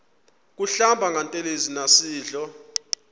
kuhlamba ngantelezi nasidlo